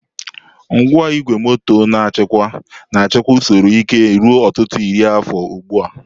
Ngwa igwe moto na-achịkwa na-achịkwa usoro ike ruo ọtụtụ iri afọ ugbu a.